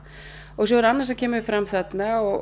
og svo er annað sem kemur fram þarna og